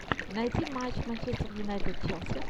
найти матч манчестер юнайтед челси